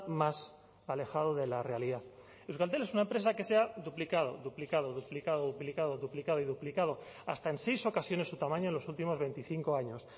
más alejado de la realidad euskaltel es una empresa que se ha duplicado duplicado duplicado duplicado duplicado y duplicado hasta en seis ocasiones su tamaño en los últimos veinticinco años